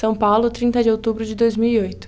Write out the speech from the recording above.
São Paulo, trinta de outubro de dois mil e oito.